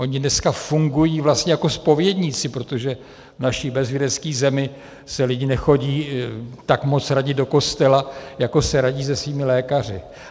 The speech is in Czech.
Oni dneska fungují vlastně jako zpovědníci, protože v naší bezvěrské zemi se lidi nechodí tak moc radit do kostela, jako se radí se svými lékaři.